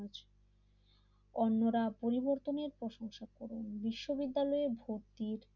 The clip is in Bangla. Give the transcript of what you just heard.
অন্যরা পরিবর্তনের প্রশংসা করেও বিশ্ববিদ্যালয় ভর্তির